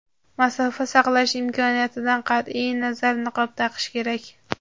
masofa saqlash imkoniyatidan qat’iy nazar niqob taqish kerak.